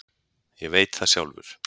Ég veit það sjálfur.